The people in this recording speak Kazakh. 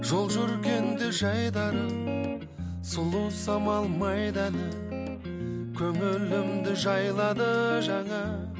жол жүргенде жайдары сұлу самал майданы көңілімді жайлады жаңа